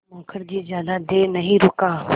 मुखर्जी ज़्यादा देर नहीं रुका